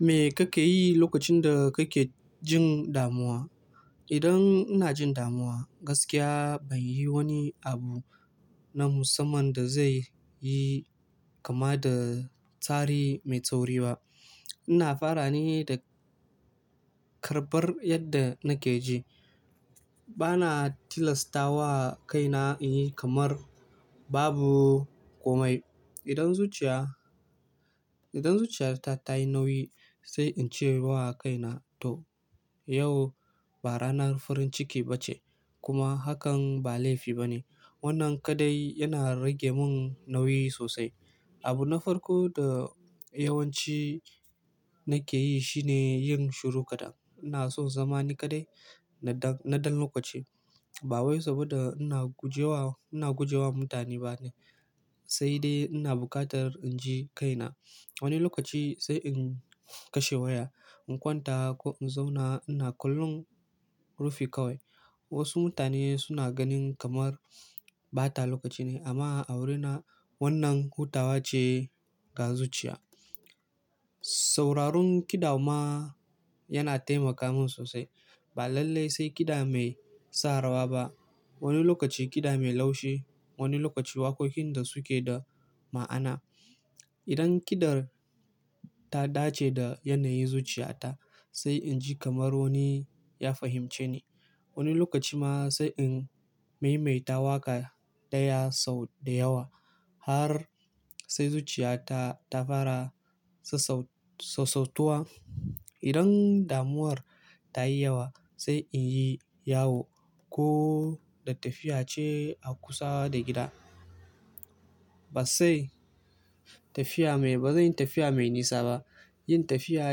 Me kake yi lokacin da kake jin damuwa? Idan ina jin damuwa, gaskiya ban yi wani abu na musamman da zai yi kama da tsari mai tsauri ba. Ina fara ne da karɓar yadda nake ji. Bana tilasta wa kaina in yi kamar babu komai. Idan zuciya, idan zuciyata ta yi nauyi, sai in ce wa kaina to, yau ba ranar farin ciki ba ce kuma hakan ba laifi ba ne. Wannan kadai yana rage mun nauyi sosai. Abu na farko da yawanci nake yi shine yin shiru kadai. Ina so zama ni kadai na ɗan, na ɗan lokaci. Ba wai saboda ina guje wa, ina guje wa mutane ba ne, sai dai ina buƙatar in ji kaina. Wani lokaci sai in kashe waya, in kwanta ko in zauna ina kallon rufi kawai. Wasu mutane suna ganin kamar ɓata lokaci ne amma a wurina wannan hutawa ce ga zuciya. Sauraron kiɗa ma yana taimaka mun sosai. Ba lallai sai kiɗa mai sa rawa ba. Wani lokaci kiɗa mai laushi, wani lokaci waƙoƙin da suke da ma'ana. Idan kiɗar ta dace da yanayin zuciyata, sai in ji kamar wani ya fahimce ni. Wani lokaci ma sai in maimaita waƙa ɗaya sau da yawa har sai zuciyata ta fara sassau, sassautuwa. Idan damuwar ta yi yawa, sai in yi yawo ko da tafiya ce a kusa da gida. Ba sai tafiya mai, ba zan yi tafiya mai nisa ba. Yin tafiya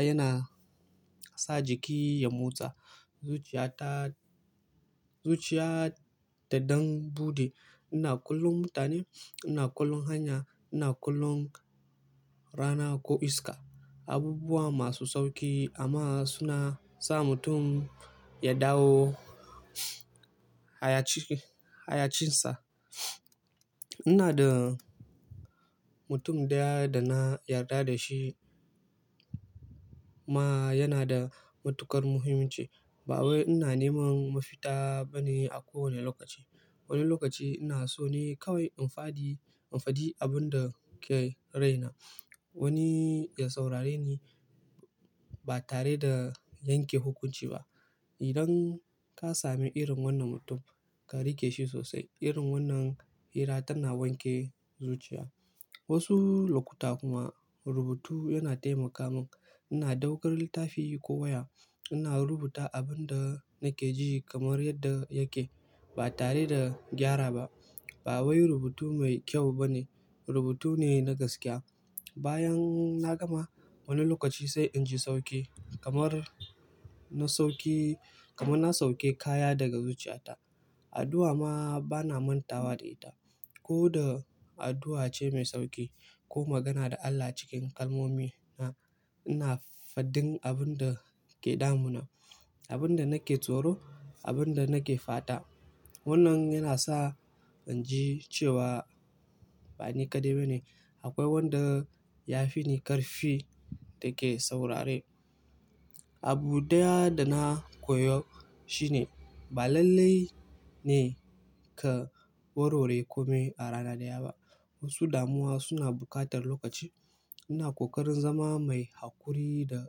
yana sa jiki ya motsa. Zuciyata, zuciyata don buɗe. Ina kallon mutane, ina kallon hanya, ina kallon rana ko iska. Abubuwa masu sauƙi amma suna sa mutum ya dawo hayaci, hayacinsa. Ina da mutum ɗaya da na yarda da shi ma yana da matuƙar muhimmanci. Ba wai ina neman mafita ba ne a kowane lokaci. Wani lokaci ina so ne kawai in faɗi, in faɗi abin da ke raina. Wani ya saurare ni ba tare da yanke hukunci ba. Idan ka sami irin wannan mutum, ka riƙe shi sosai. Irin wannan hira tana wanke zuciya. Wasu lokuta kuma rubutu yana taimaka mun. Ina ɗaukar littafi ko waya, ina rubuta abin da nake ji kamar yadda yake ba tare da gyara ba. Ba wai rubutu mai kyau ba ne, rubutu ne na gaskiya. Bayan na gama, wani lokaci sai in ji sauƙi kamar na sauki, kamar na sauke kaya daga zuciyata. Addu'a ma bana manta wa da ita. Ko da addu'a ce mai sauƙi ko magana da Allah cikin kalmomi, ina fadin abin da ke damuna, abin da nake tsoro, abin da nake faɗa. Wannan yana sa in ji cewa ba ni kadai ba ne. Akwai wanda ya fi ni ƙarfi da ke saurare. Abu ɗaya da na koyo shine ba lallai ne ka warware komai a rana ɗaya ba. Wasu damuwa suna buƙatar lokaci. Ina ƙoƙarin zama mai haƙuri da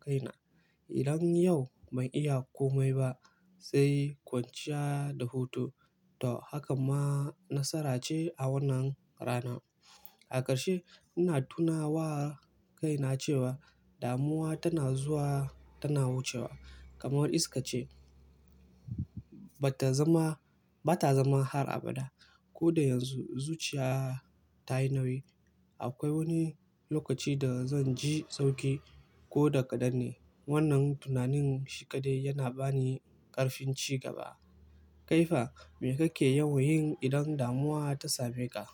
kaina. Idan yau ban iya komai ba sai kwanciya da hutu. To, hakan ma nasara ce a wannan rana. A ƙarshe, ina tuna wa kaina cewa damuwa tana zuwa tana wucewa kamar iska ce. Bata zama, bata zama har abada. Ko da yanzu zuciya ta yi nauyi. Akwai wani lokaci da zan ji sauƙi ko da ƙadan ne. Wannan tunanin shi kadai yana ba ni ƙarfin cigaba. Kaifa, me kake yawan yin idan damuwa ta same ka?